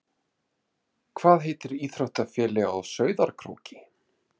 Hvað heitir íþróttafélagið á Sauðárkróki?